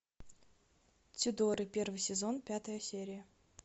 тюдоры первый сезон пятая серия